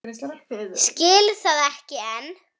Skil það ekki enn.